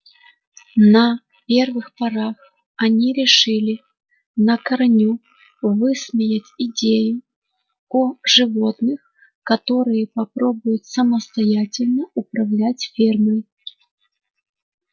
на первых порах они решили на корню высмеять идею о животных которые попробуют самостоятельно управлять фермой